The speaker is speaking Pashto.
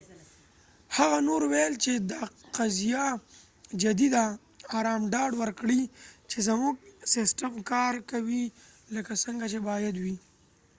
هغه نور وویل چې، دا قضیه جدي ده۔ ارام ډاډ ورکړئ چې زموږ سیسټم کار کوي لکه څنګه چې باید وي۔